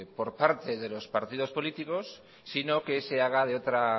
por parte de los partidos políticos sino que se haga de otra